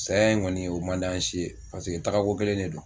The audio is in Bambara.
Saya in kɔni o man da si ye paseke taagako kelen de do.